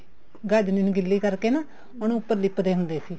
ਗਾਚਣੀ ਨੂੰ ਗਿੱਲੀ ਕਰਕੇ ਨਾ ਉਹਨੂੰ ਉੱਪਰ ਲਿੱਪਦੇ ਹੁੰਦੇ ਸੀ